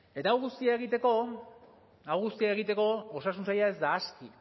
eta hau guztia egiteko hau guztia egiteko osasun saila ez da aski